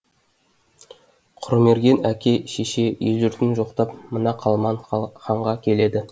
құрмерген әке шеше ел жұртын жоқтап мына қалман ханға келеді